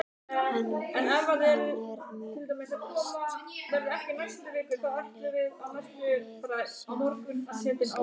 Hann er mest á eintali við sjálfan sig.